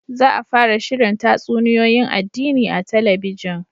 Za a fara shirin tatsuniyoyin addini a talabijin